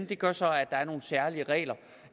det gør så at der er nogle særlige regler